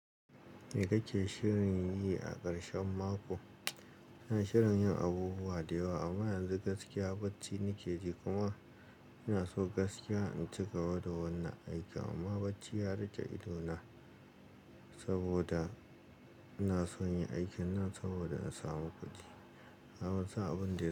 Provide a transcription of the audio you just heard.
Me kake shirin yi a ƙarshen mako? Ina shirin yin abubuwa da yewa amma yanzu gaskiya bacci nake ji kuma ina so gaskiya in cigaba da wannan aiki amma bacci ya riƙe idona saboda ina son yin aikin nan saboda in samu kuɗi. Nafison sa abun da.